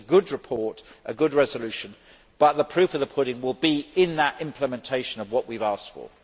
This is a good report and a good resolution, but the proof of the pudding will be in the implementation of what we have asked for.